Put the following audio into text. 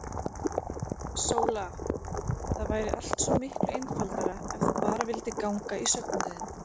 SÓLA: Það væri allt svo miklu einfaldara ef þú bara vildir ganga í söfnuðinn.